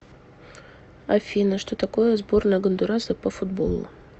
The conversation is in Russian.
афина что такое сборная гондураса по футболу